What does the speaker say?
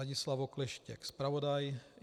Ladislav Okleštěk, zpravodaj.